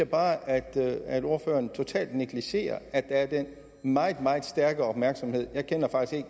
bare at at ordføreren totalt negligerer at der er den meget meget stærke opmærksomhed jeg kender faktisk